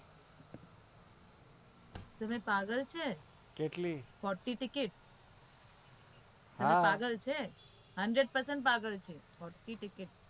તમે પાગલ છે forty ticket hundred percent પાગલ છે.